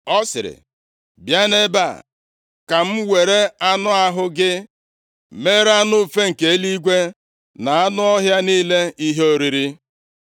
Ọ sịrị, “Bịa nʼebe a ka m were anụ ahụ gị mere anụ ufe nke eluigwe na anụ ọhịa niile ihe oriri!”